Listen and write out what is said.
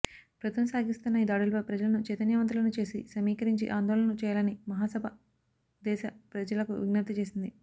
ప్రభుత్వం సాగిస్తున్న ఈ దాడులపై ప్రజలను చైతన్యవంతులను చేసి సమీకరించి ఆందోళనలు చేయాలని మహాసభ దేశ ప్రజలకు విజ్ఞప్తి చేసింది